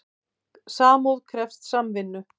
Sambúð krefst samvinnu.